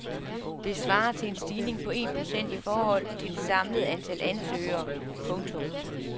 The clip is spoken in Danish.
Det svarer til en stigning på en procent i forhold til det samlede antal ansøgere. punktum